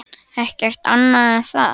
Ekkert annað en það?